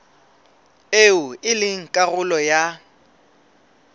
eo e leng karolo ya